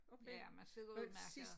Ja man sidder udemærket